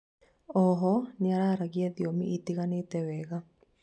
oho nĩararagia thiomi itiganĩte wega